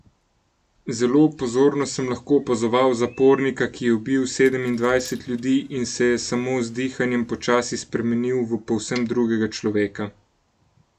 Zelo pozorno sem lahko opazoval zapornika, ki je ubil sedemindvajset ljudi in se je samo z dihanjem počasi spremenil v povsem drugega človeka.